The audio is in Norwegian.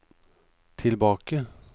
tilbake